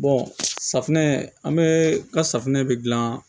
safinɛ an be ka safunɛ de gilan